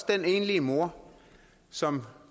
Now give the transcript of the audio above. den enlige mor som